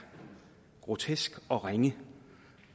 grotesk og ringe